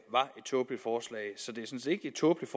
sådan set ikke et tåbeligt